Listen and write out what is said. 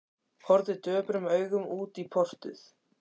Horfði döprum augum út í portið.